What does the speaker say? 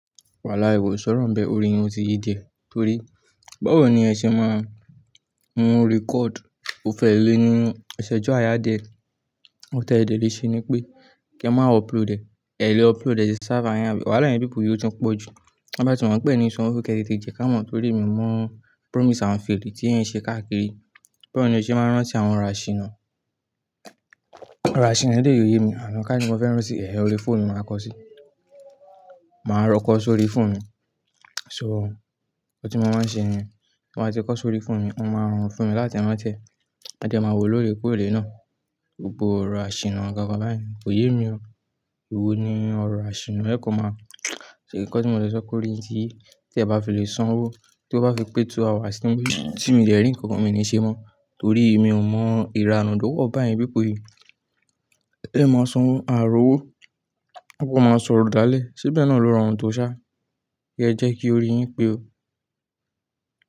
Walahi ko sọrọ nbe, ori wọn ti yí díẹ̀, torí báwo ni ẹ ṣe máa mu record. O fẹ́ le ní ìṣẹ́jú àyà díẹ̀, ohun tẹ́ dẹ le ṣe ni pé kí ẹ má upload ẹ̀, ẹ̀ lè upload ẹ̀ sí server yẹn. Wàhálà ẹyin people yìí ó tún pọ̀ jù. Te bá ti mọ̀ pé eo ni sanwó, kí ẹ tete jẹ ká mọ̀, torí mi mọ promise and fail tí ẹ̀ ń ṣe káàkiri. Báwo ni ẹ ṣe máa rán sí àwọn òrò àṣìnà? Òrò àṣìnà eleyi o ye mí, ká ní mo fẹ́ rántí ehẹ̀n, orí fóònù ni màá kọ sí. Màá lọ kọ sórí fóònù mi, so, ohun tí mo máa ń ṣe ni, tí mo bá ti kọ sórí fóònù mi, máa ń rọrun fún mi láti rántí ẹ. Ma de màá wo lóòrèkóòrè náà. Gbogbo òrò àṣìnà kankan báyen, kò yé mi o. Èwo ni òrò àṣìnà, ẹ kó máa ṣe nǹkan tí mo ti sọ pe órí yin ti yìí, tí ẹ bá fi lè san owó mi, tí ó bá fi pé two hours tí mi ò de rí nǹkan kan mi ní ṣe mọ́ torí mi ò mọ ìranu tó tókàn bá eyin people yìí. Ẹ máa san owó, àà rọ owó, à kan máa sọ̀rọ̀ dáálẹ̀. Ṣe bẹ̀ náà ló rọrun tó ṣá? Ẹ jẹ́ kí orin yín pé o.